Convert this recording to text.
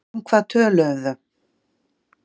Um hvað við töluðum?